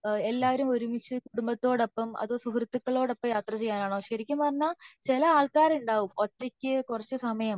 എല്ലാവരും ഒരുമിച്ച് കുടുംബത്തോടൊപ്പം അതോ സുഹൃത്തുക്കളോട് ഒപ്പം യാത്ര ചെയ്യാനാണോ ശെരിക്കും പറഞ്ഞ ചില ആൾക്കാരെ ഉണ്ടാവും ഒറ്റക് കുറച്ച് സമയം